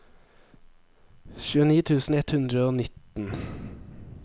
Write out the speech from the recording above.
tjueni tusen ett hundre og nitten